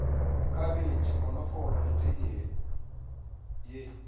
khabetšhe konofolo le teye ye